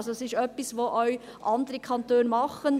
Es ist also etwas, das auch andere Kantone tun.